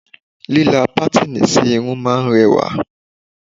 Líla patini sí irun máa ń rẹwà